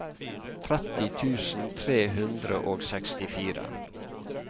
tretti tusen tre hundre og sekstifire